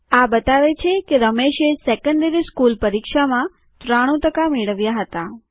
આ બતાવે છે કે રમેશએ સેકન્ડરી સ્કૂલ પરીક્ષામાં ૯૩ ટકા મેળવ્યા હતા